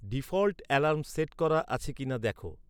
default alarm set করা আছে কি না দেখো